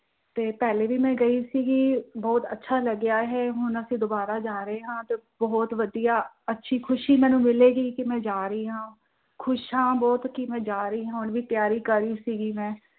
ਤੇ ਪਹਿਲੇ ਵੀ ਮੈਂ ਗਈ ਸੀ ਗਈ ਬਹੁਤ ਅੱਛਾ ਲੱਗਿਆ ਹੈ ਹੁਣ ਅਸੀਂ ਦੁਬਾਰਾ ਜਾ ਰਹੇ ਹਾਂ, ਬਹੁਤ ਵਧੀਆ ਅੱਛੀ ਖੁਸ਼ੀ ਮੈਂਨੂੰ ਮਿਲੇਗੀ ਕਿ ਮੈਂ ਜਾ ਰਹੀ ਹਾਂ, ਖੁਸ਼ ਆ ਬਹੁਤ ਹਾਂ ਕਿ ਮੈਂ ਜਾ ਰਹੀ ਹਾਂ ਹੁਣ ਵੀ ਤਿਆਰੀ ਕਰੀ ਸੀ ਗਈ ਮੈਂ